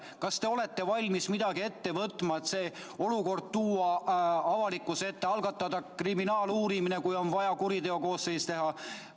Kas te olete valmis midagi ette võtma, et see olukord tuua avalikkuse ette, algatada kriminaaluurimine, kui on vaja, kuriteokoosseis teha?